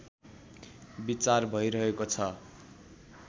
विचार भइरहेको छ